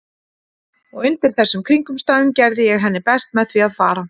Og undir þessum kringumstæðum gerði ég henni best með því að fara.